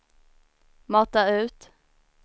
mata ut